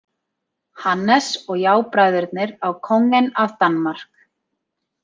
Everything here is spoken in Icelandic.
Hannes og jábræðurnir á Kongen af Danmark.